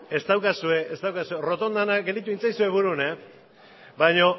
ez daukazue errotondan gelditu egin baina